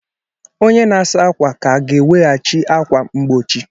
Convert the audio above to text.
Onye na-asa ákwà ka ga-eweghachi ákwà mgbochi.